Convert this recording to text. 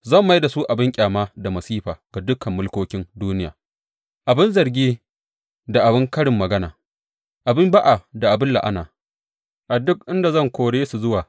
Zan mai da su abin ƙyama da masifa ga dukan mulkokin duniya, abin zargi da abin karin magana, abin ba’a da abin la’ana a duk inda zan kore su zuwa.